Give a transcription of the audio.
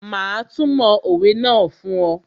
Mà á túmọ̀ òwe náà fún ọ